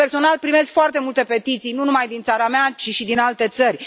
Personal, primesc foarte multe petiții, nu numai din țara mea ci și din alte țări.